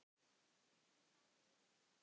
Hann þarf að vinna.